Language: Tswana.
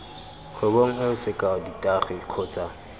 kgwebong eo sekao ditagi kgotsa